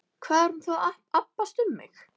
Hvað er hún þá að abbast upp á mig?